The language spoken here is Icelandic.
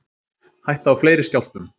Hætta á fleiri skjálftum